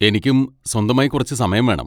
എനിക്കും സ്വന്തമായി കുറച്ചു സമയം വേണം.